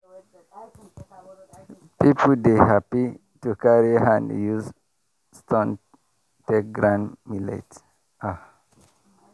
people dey happy to carry hand use stone take grind millet